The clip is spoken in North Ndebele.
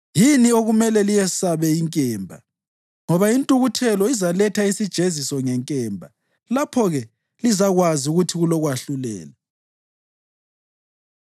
yini okumele liyesabe inkemba; ngoba intukuthelo izaletha isijeziso ngenkemba, lapho-ke lizakwazi ukuthi kulokwahlulela.”